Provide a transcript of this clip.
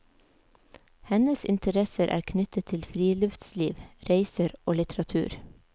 Hennes interesser er knyttet til friluftsliv, reiser og litteratur.